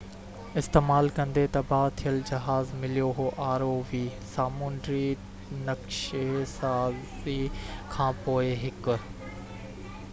سامونڊي نَقشي سازي کان پوءِ هڪ rov استعمال ڪندي تباهه ٿيل جهاز مليو هو